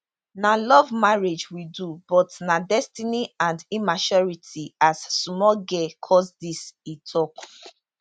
na love marriage we do but na destiny and immaturity as small girl cause dis e tok